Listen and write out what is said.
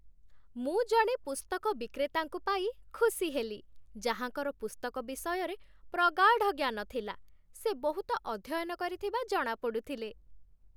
ମୁଁ ଜଣେ ପୁସ୍ତକ ବିକ୍ରେତାଙ୍କୁ ପାଇ ଖୁସି ହେଲି, ଯାହାଙ୍କର ପୁସ୍ତକ ବିଷୟରେ ପ୍ରଗାଢ଼ ଜ୍ଞାନ ଥିଲା। ସେ ବହୁତ ଅଧ୍ୟୟନ କରିଥିବା ଜଣାପଡ଼ୁଥିଲେ।